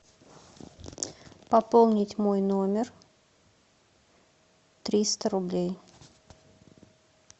пополнить мой номер триста рублей